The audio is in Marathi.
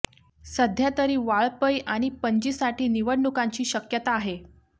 सध्या तरी वाळपई आणि पणजीसाठी निवडणुकांची शक्यता आहे